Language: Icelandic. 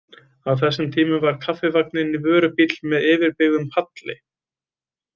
Á þessum tíma var Kaffivagninn vörubíll með yfirbyggðum palli.